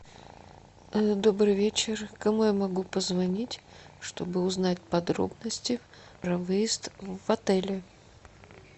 добрый вечер кому я могу позвонить чтобы узнать подробности про выезд в отеле